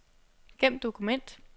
Gem dokument.